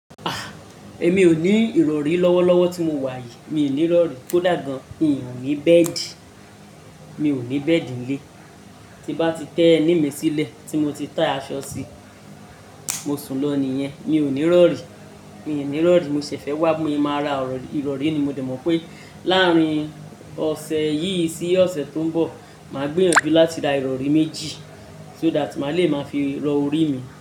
Ah! Èmi ò ní ìrọ̀rí lọ́wọ́lọ́wọ́ tí mo wà yìí, mi ò ní rọ̀rí kó dà gan. N ò ní bẹ́ẹ̀dì, mi ò ní bẹ́ẹ̀dì lé tí bá ti tẹ ẹní mi sílẹ̀ tí mo ti tà aṣọ sí, mo sùn lọ nìyẹn, mi ò ní rọ̀rí, mi ò ní rọ̀rí mo ṣẹ̀ fẹ́ wá mo máa ra ìrọ̀rí ni mo dẹ mọ̀ pé láàárín ọ̀sẹ̀ yìí sí ọ̀sẹ̀ tó ń bọ̀, màá gbìyànjú láti ra ìrọ̀rí méjì so that màá le máa fi rọ orí mi.